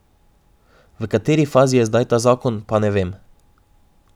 V kateri fazi je zdaj ta zakon, pa ne vem.